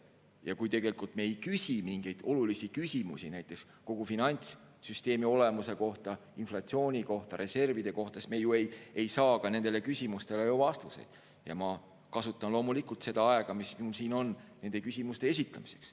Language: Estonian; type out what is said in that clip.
Ja kui me ei küsi olulisi küsimusi, näiteks kogu finantssüsteemi olemuse kohta, inflatsiooni kohta, reservide kohta, siis me ju ei saa ka nendele küsimustele vastuseid, ja ma kasutan loomulikult seda aega, mis mul siin on, nende küsimuste esitamiseks.